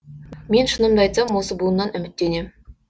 мен шынымды айтсам осы буыннан үміттенем